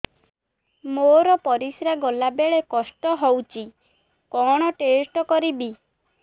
ମୋର ପରିସ୍ରା ଗଲାବେଳେ କଷ୍ଟ ହଉଚି କଣ ଟେଷ୍ଟ କରିବି